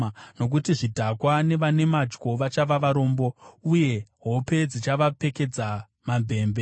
nokuti zvidhakwa nevane madyo vachava varombo, uye hope dzichavapfekedza mamvemve.